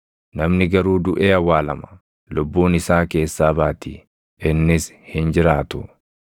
Namni garuu duʼee awwaalama; lubbuun isaa keessaa baati; innis hin jiraatu.